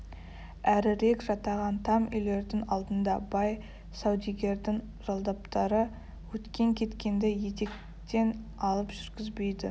әрірек жатаған там үйлердің алдында бай саудегердің жалдаптары өткен-кеткенді етектен алып жүргізбейді